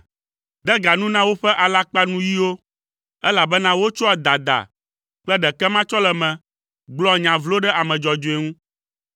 De ga nu na woƒe alakpanuyiwo, elabena wotsɔa dada kple ɖekematsɔleme gblɔa nya vlo ɖe ame dzɔdzɔe ŋu.